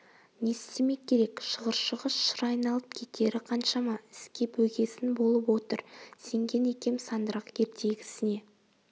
не істемек керек шығыршығы шыр айналып кетері қаншама іске бөгесін болып отыр сенген екем сандырақ ертегісіне